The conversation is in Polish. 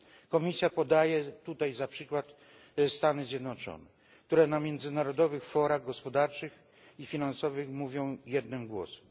Komisja podaje za przykład Stany Zjednoczone, które na międzynarodowych forach gospodarczych i finansowych mówią jednym głosem.